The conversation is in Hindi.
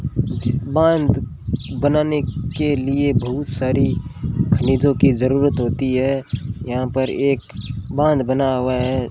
बांध बनाने के लिए बहुत सारी खनिजों की जरूरत होती है यहां पर एक बांध बना हुआ है।